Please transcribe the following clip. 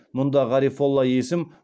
мұнда ғарифолла есім